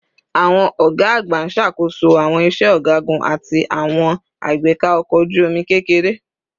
Awọn ọga agba n ṣakoso awọn iṣẹ ọgagun ati awọn agbeka ọkọ oju-omi kekere